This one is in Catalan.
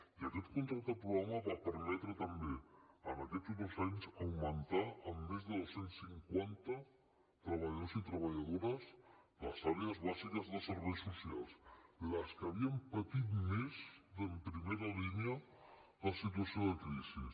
i aquest contracte programa va permetre també en aquests dos anys augmentar en més de dos cents i cinquanta treballadors i treballadores les àrees bàsiques de serveis socials les que havien patit més en primera línia la situació de crisi